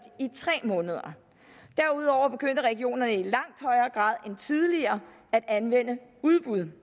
i tre måneder derudover begyndte regionerne i langt højere grad end tidligere at anvende udbud